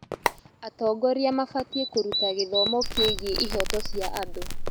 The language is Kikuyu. Atongoria mabatiĩ kũruta gĩthomo kĩgiĩ ihooto cia andũ.